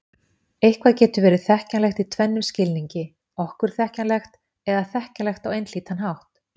Eitthvað getur verið þekkjanlegt í tvennum skilningi: okkur þekkjanlegt eða þekkjanlegt á einhlítan hátt.